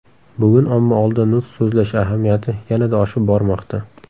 Bugun omma oldida nutq so‘zlash ahamiyati yanada oshib bormoqda.